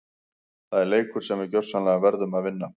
Það er leikur sem við gjörsamlega verðum að vinna!